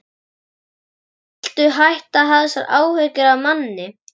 Viltu hætta að hafa þessar áhyggjur af manni!